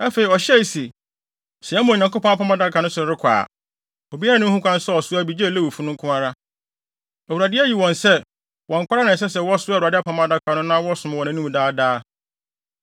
Afei, ɔhyɛɛ se, “Sɛ yɛma Onyankopɔn Apam Adaka no so de rekɔ a, obiara nni ho kwan sɛ ɔsoa bi gye Lewifo no nko ara. Awurade ayi wɔn sɛ, wɔn nko ara na ɛsɛ sɛ wɔsoa Awurade Apam Adaka no na wɔsom wɔ nʼanim daa daa.”